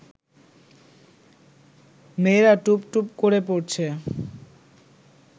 মেয়েরা টুপটুপ করে পড়ছে